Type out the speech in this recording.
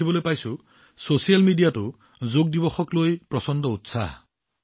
মই দেখিছোঁ যে ছচিয়েল মিডিয়াতো যোগ দিৱসক লৈ ব্যাপক উৎসাহ